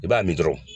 I b'a min dɔrɔn